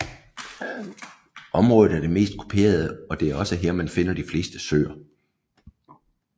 Området er det mest kuperede og det er også her man finder de fleste søer